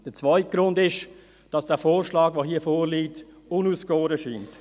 Der zweite Grund besteht darin, dass der vorliegende Vorschlag unausgegoren erscheint.